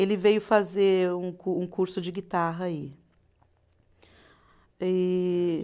Ele veio fazer um cu um curso de guitarra aí. E